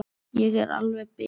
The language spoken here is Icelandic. Ég er alveg bit!